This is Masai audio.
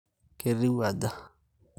ketiu aja